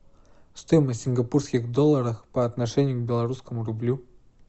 стоимость сингапурских долларов по отношению к белорусскому рублю